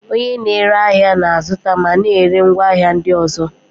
Onye na-ere ahịa na-azụta ma na-ere ngwaahịa ndị ọzọ.